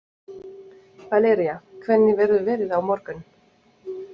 Valería, hvernig verður veðrið á morgun?